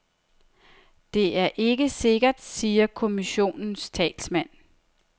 Det er ikke sikkert, siger kommissionens talsmand.